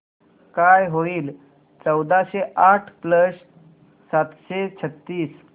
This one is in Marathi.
काय होईल चौदाशे आठ प्लस सातशे छ्त्तीस